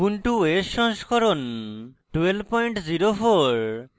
ubuntu os সংস্করণ 1204